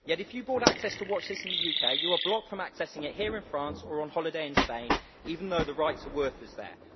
Yet if you bought access to watch this in the UK, you are blocked from accessing it here in France or on holiday in Spain, even though the right to work is there.